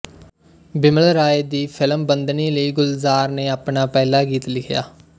ਬਿਮਲ ਰਾਏ ਦੀ ਫਿਲਮ ਬੰਦਨੀ ਲਈ ਗੁਲਜ਼ਾਰ ਨੇ ਆਪਣਾ ਪਹਿਲਾ ਗੀਤ ਲਿਖਿਆ